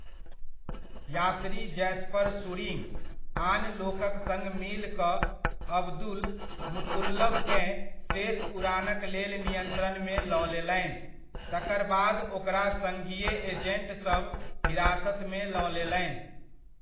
यात्री Jasper Schuringa आन लोकक सङ मिल कऽ अब्दुलमुतल्लबकेँ शेष उड़ानक लेल नियंत्रणमे लऽ लेलनि, तकर बाद ओकरा सङ्घीय एजेन्ट सभ हिरासतमे लऽ लेलनि।